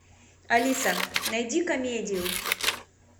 алиса найди комедию